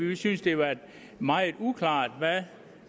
vi synes det er meget uklart hvad